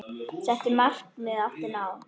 Settu marki átti að ná.